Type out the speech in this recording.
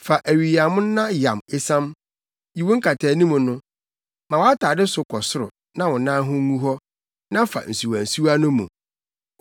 Fa awiyammo na yam esiam; yi wo nkataanim no. Ma wʼatade so kɔ soro, na wo nan ho ngu hɔ, na fa nsuwansuwa no mu.